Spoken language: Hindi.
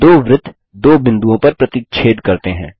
दो वृत्त दो बिंदुओं पर प्रतिच्छेद करते हैं